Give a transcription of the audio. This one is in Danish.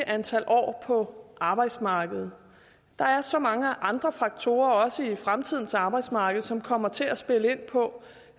antal år på arbejdsmarkedet der er så mange andre faktorer også i fremtidens arbejdsmarked som kommer til at spille ind på